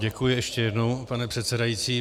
Děkuji ještě jednou, pane předsedající.